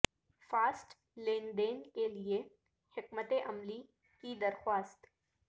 fast لین دین کے لئے حکمت عملی کی درخواست